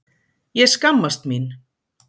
Ég skammast mín!